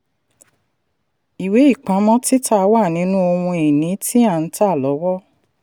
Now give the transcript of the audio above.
ìwé-ìpamọ́ títà wà nínú ohun ìní tí a ń tà lọ́wọ́.